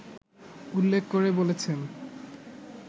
উল্লেখ করে বলেছেন